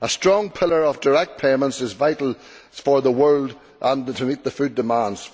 A strong pillar of direct payments is vital for the world and to meet food demands.